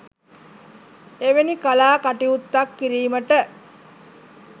එවැනි කලා කටයුත්තක් කිරීමට